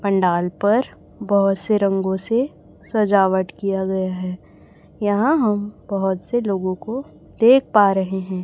पंडाल पर बहुत से रंगों से सजावट किया गया है यहां हम बहुत से लोगों को देख पा रहे हैं।